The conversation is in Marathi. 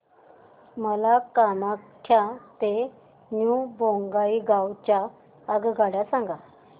मला कामाख्या ते न्यू बोंगाईगाव च्या आगगाड्या सांगा